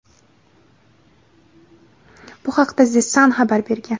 Bu haqda "The Sun" xabar bergan.